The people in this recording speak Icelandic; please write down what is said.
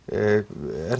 er